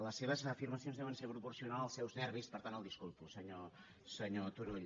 les seves afirmacions deuen ser proporcionals als seus nervis per tant el disculpo senyor turull